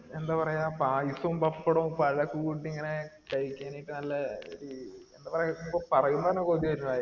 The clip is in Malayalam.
എന്താ പറയാ പായസോം പപ്പടോം പഴക്കെ കൂട്ടി ഇങ്ങനെ കഴിക്കാൻ ക്കെ നല്ല എന്താ പറയാ പറയുമ്പോ തന്നെ കൊതിയാവുന്